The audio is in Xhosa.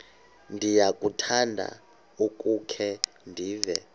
ndiyakuthanda ukukhe ndive